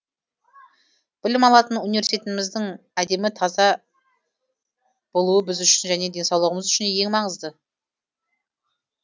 білім алатын университетіміздің әдемі таза болуы біз үшін және денсаулығымыз үшін ең маңызды